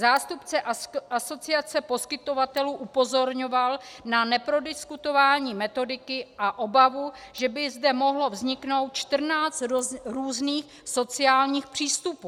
Zástupce asociace poskytovatelů upozorňoval na neprodiskutování metodiky a obavu, že by zde mohlo vzniknout 14 různých sociálních přístupů.